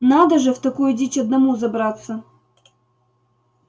надо же в такую дичь одному забраться